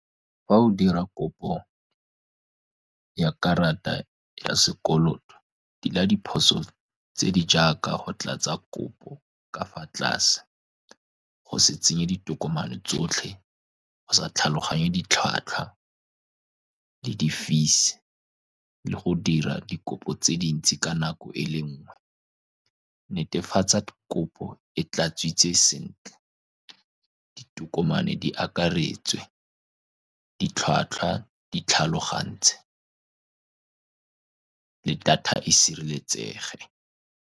Fa o dira kopo ya karata ya sekoloto, tila diphoso tse di jaaka, go tlatsa kopo ka fa tlase, go se tsenye ditokomane tsotlhe, go sa tlhaloganye ditlhwatlhwa le di-fees, le go dira dikopo tse dintsi ka nako e le nngwe. Netefatsa kopo e tladitswe sentle, ditokomane di akaretswe, ditlhwatlhwa di tlhalogantswe, le data e sireletsege.